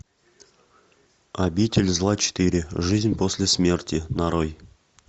обитель зла четыре жизнь после смерти нарой